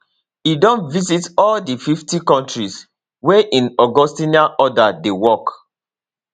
e don visit all di 50 kontris wia im augustinian order dey work